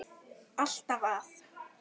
Alltaf að.